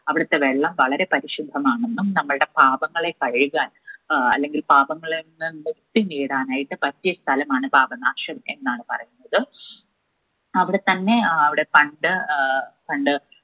അവിടുത്തെ വെള്ളം വളരെ പരിശുദ്ധമാണെന്നും നമ്മൾടെ പാപങ്ങളെ കഴുകാൻ ഏർ അല്ലെങ്കിൽ പാപങ്ങളിൽനിന്നും മുക്തി നേടാനായിട്ട് പറ്റിയെ സ്ഥലമാണ് പാപനാശം എന്നാണ് പറയുന്നത് അവിടെത്തന്നെ ഏർ അവിടെ പണ്ട് ഏർ പണ്ട്